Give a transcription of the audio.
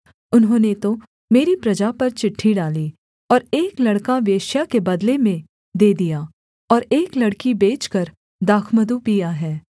उन्होंने तो मेरी प्रजा पर चिट्ठी डाली और एक लड़का वेश्या के बदले में दे दिया और एक लड़की बेचकर दाखमधु पीया है